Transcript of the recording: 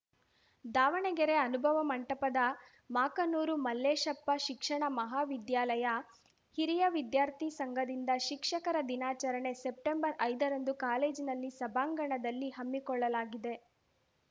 ದಾವಣಗೆರೆ ಅನುಭವ ಮಂಟಪದ ಮಾಕನೂರು ಮಲ್ಲೇಶಪ್ಪ ಶಿಕ್ಷಣ ಮಹಾವಿದ್ಯಾಲಯ ಹಿರಿಯ ವಿದ್ಯಾರ್ಥಿ ಸಂಘದಿಂದ ಶಿಕ್ಷಕರ ದಿನಾಚರಣೆ ಸೆಪ್ಟೆಂಬರ್ಐದರಂದು ಕಾಲೇಜಿನಲ್ಲಿ ಸಭಾಂಗಣದಲ್ಲಿ ಹಮ್ಮಿಕೊಳ್ಳಲಾಗಿದೆ